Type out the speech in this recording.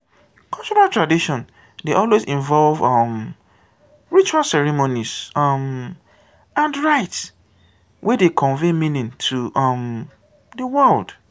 cultural tradition dey always involve um ritual ceremonies um and rites wey dey convey meaning to um di world